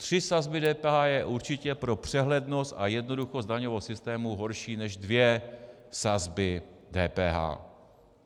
Tři sazby DPH je určitě pro přehlednost a jednoduchost daňového systému horší než dvě sazby DPH.